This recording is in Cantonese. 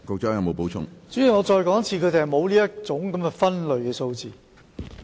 主席，我再說一次，他們沒有這項分類數字。